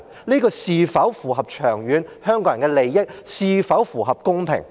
這是否符合香港人長遠的利益，是否公平？